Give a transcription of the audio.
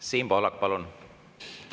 Siim Pohlak, palun!